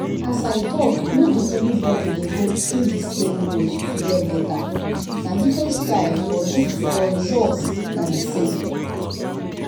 as i talk no be everybody dey go through the same road to get better — na different style but result na the same.